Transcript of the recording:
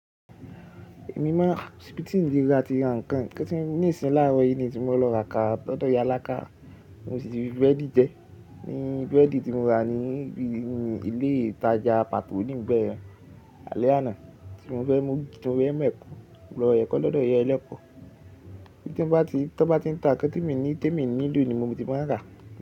Èmi máa n a, ko si bi ti ńle ra ti ra nǹkan kantì ní ìsìn láàrọ̀ yìí ni si mo lọ ra kara lọ̀dọ̀ ìyá Alákà. Mo sì ti fi búrẹ́dì jẹ. Ni búrẹ́dì tí mo rà ni ní ibi ilé ìtajà Patò níbẹ̀ yẹn alẹ́ àná tí mo fẹ́ mú, tí mo fẹ mu mẹ̀ko lọ rẹ̀ kọ́ lọ́dọ̀ ìyá ẹlẹ́pọ̀. Kí tí ń bá ti tan bá ti ń ta ǹkan timì timi ni lo ní mo ti máa rà.